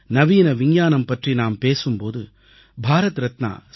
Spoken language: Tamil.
நவீன விஞ்ஞானம் பற்றி நாம் பேசும் போது பாரத் ரத்னா சர்